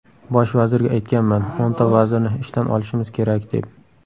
Bosh vazirga aytganman, o‘nta vazirni ishdan olishimiz kerak, deb.